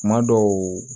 Kuma dɔw